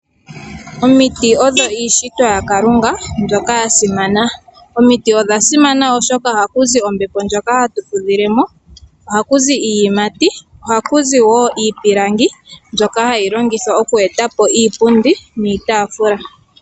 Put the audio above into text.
Omiti odho iishitwa yaKalunga mbyoka ya simana. Omiti odha simana oshoka ohaku zi ombepo ndjoka hatu fudhilemo, ohaku zi iiyimati, ohaku zi woo iipilangi mbyoka hayi longithwa oku etapo iipundi niitafula.